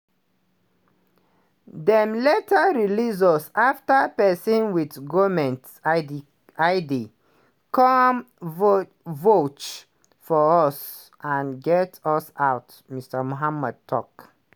dem later release us afta pesin wit goment id come vouch for us and get us out" mr mohamed tok.